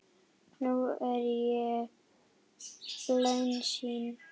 Nú er ég bölsýn.